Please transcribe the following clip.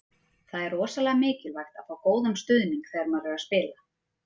Það er rosalega mikilvægt að fá góðan stuðning þegar maður er að spila.